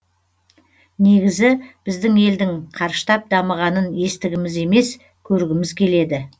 негізі біздің елдің қарыштап дамығанын естігіміз емес көргіміз келеді